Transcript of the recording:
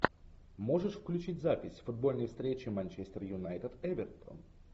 можешь включить запись футбольной встречи манчестер юнайтед эвертон